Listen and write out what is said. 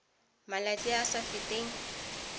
malatsi a a sa feteng